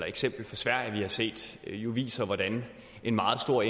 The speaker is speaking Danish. eksempel fra sverige vi har set viser hvordan en meget stor